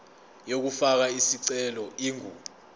yokufaka isicelo ingu